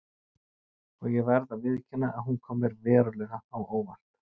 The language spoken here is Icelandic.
Og ég verð að viðurkenna að hún kom mér verulega á óvart.